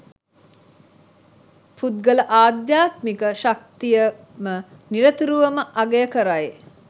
පුද්ගල අධ්‍යාත්මික ශක්තියම නිරතුරුවම අගය කරයි.